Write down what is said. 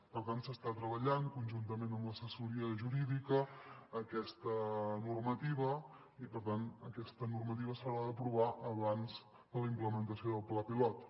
per tant s’està treballant conjuntament amb l’assessoria jurídica aquesta normativa i per tant aquesta normativa s’haurà d’aprovar abans de la implementació del pla pilot